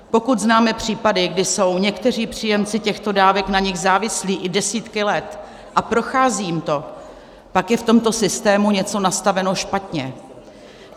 Pokud známe případy, kdy jsou někteří příjemci těchto dávek na nich závislí i desítky let a prochází jim to, pak je v tomto systému něco nastaveno špatně.